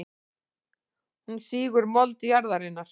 Hún sýgur mold jarðarinnar.